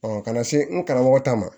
kana se n karamɔgɔ ta ma